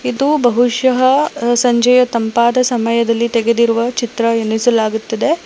ಇದು ಬಹುಷಃ ಸಂಜೆಯ ತಂಪಾದ ಸಮಯದಲ್ಲಿ ತೆಗೆದಿರುವುದ ಚಿತ್ರ ಎನಿಸಲಾಗುತ್ತದೆ.